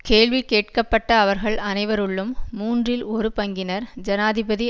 கேள்வி கேட்கப்பட்ட அவர்கள் அனைவருள்ளும் மூன்றில் ஒரு பங்கினர் ஜனாதிபதி